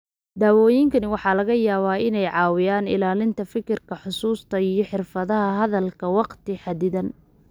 Daawooyinkani waxa laga yaabaa inay caawiyaan ilaalinta fikirka, xusuusta, iyo xirfadaha hadalka wakhti xaddidan.